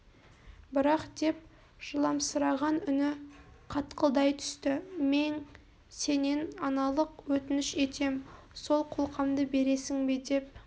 бірақ деп жыламсыраған үні қатқылдай түсті мең сенен аналық өтініш етем сол қолқамды бересің бе деп